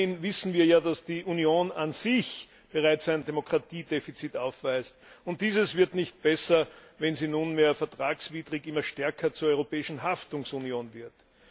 Immerhin wissen wir ja, dass die Union an sich bereits ein Demokratiedefizit aufweist. Dieses wird nicht besser, wenn sie nunmehr vertragswidrig immer stärker zur Europäischen Haftungsunion wird.